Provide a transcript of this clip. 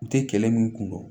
U tɛ kɛlɛ min kun don